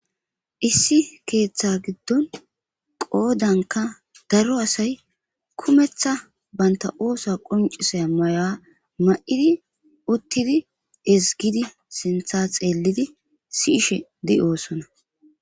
issi keeththa giddon qoodanka daro asay kumeththa baynta oosa quncisay maya ma7idi uttidi izgidi sintha xeellidi siishe di oosona